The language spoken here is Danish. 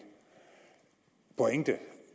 pointe